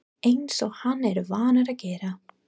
Eins og hann er vanur að gera.